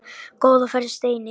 Góða ferð, Steini.